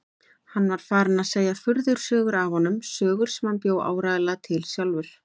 Hann var farinn að segja furðusögur af honum, sögur sem hann bjó áreiðanlega til sjálfur.